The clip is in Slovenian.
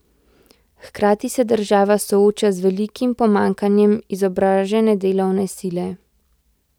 Hkrati se država sooča z velikim pomanjkanje izobražene delovne sile.